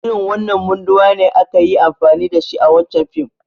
Irin wanan munduwa ne aka yi amfani da shi a wancan fim.